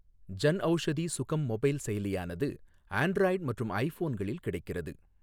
Janaushadhi Sugam mobile செயலியானது Android மற்றும் ஐ போன்களில் கிடைக்கிறது.